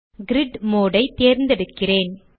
grid mode ஐ தேர்ந்தெடுக்கிறேன்